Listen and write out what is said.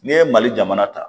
N'i ye mali jamana ta